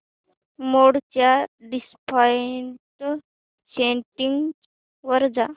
मोड च्या default settings वर जा